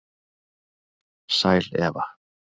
Sæl Eva,